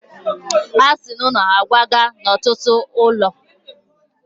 Ha si n’ụlọ ha kwaga n’otu ọnụ ụlọ.